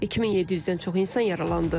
2700-dən çox insan yaralandı.